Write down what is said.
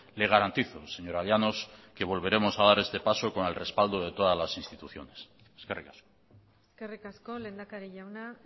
le garantizo señora llanos que volveremos a dar este paso con el respaldo de todas las instituciones eskerrik asko eskerrik asko lehendakari jauna